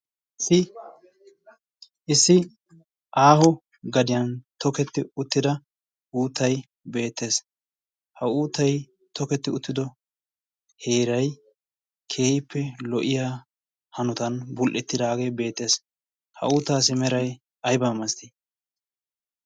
issi aaho gadiyan toketti uttida uuttai beettees. ha uutai toketti uttido heerai keehippe lo77iya hanotan bul77ettidaagee beettees. ha uutaassi merai aibaa masttii?